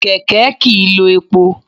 Kẹ̀kẹ́ kìí lo epo.